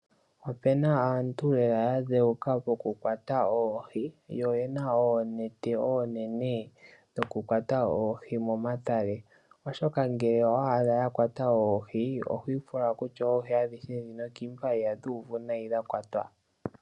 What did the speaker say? Opuna aantu yamwe ya dheuka lela moku kwata oohi, mokulongitha oonete onene dhoku kwata oohi momatale oshoka ngele owa adha ya kwata oohi otaye ku nyanyudha oku pula ngele oyo nga ya kwata oohi adhihe dhono.